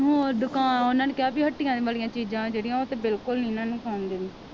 ਹੋਰ ਦੁਕਾਨ ਉਹਨਾਂ ਨੇ ਕਿਹਾ ਵੀ ਹੱਟੀਆਂ ਵਾਲੀਆਂ ਚੀਜ਼ਾਂ ਜਿਹੜੀਆਂ ਉਹ ਤੇ ਬਿਲਕੁਲ ਨੀ ਇਹਨਾਂ ਨੂੰ ਖਾਣ ਦੇਣੀ